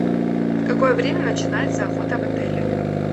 в какое время начинается охота в отеле